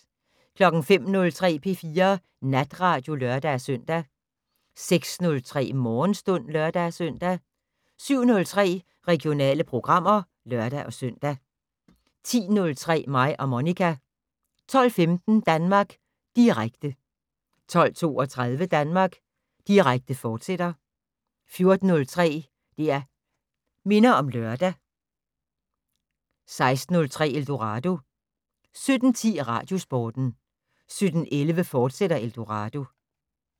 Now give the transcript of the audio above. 05:03: P4 Natradio (lør-søn) 06:03: Morgenstund (lør-søn) 07:03: Regionale programmer (lør-søn) 10:03: Mig og Monica 12:15: Danmark Direkte 12:32: Danmark Direkte, fortsat 14:03: Det' Minder om Lørdag 16:03: Eldorado 17:10: Radiosporten 17:11: Eldorado, fortsat